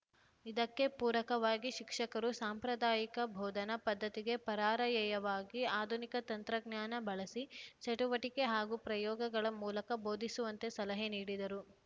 ಇದಕ್ಕೆ ಪೂರಕವಾಗಿ ಶಿಕ್ಷಕರು ಸಾಂಪ್ರದಾಯಿಕ ಬೋಧನಾ ಪದ್ಧತಿಗೆ ಪರಾರ‍ಯಯವಾಗಿ ಆಧುನಿಕ ತಂತ್ರಜ್ಞಾನ ಬಳಸಿ ಚಟುವಟಿಕೆ ಹಾಗೂ ಪ್ರಯೋಗಗಳ ಮೂಲಕ ಬೋಧಿಸುವಂತೆ ಸಲಹೆ ನೀಡಿದರು